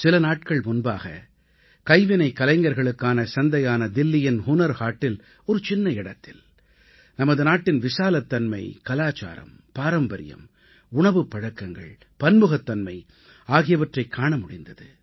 சில நாட்கள் முன்பாக கைவினைக் கலைஞர்களுக்கான சந்தையான தில்லியின் ஹுனர் ஹாட்டில் ஒரு சின்ன இடத்தில் நமது நாட்டின் விசாலத்தன்மை கலாச்சாரம் பாரம்பரியம் உணவுப்பழக்கங்கள் பன்முகத்தன்மை ஆகியவற்றைக் காண முடிந்தது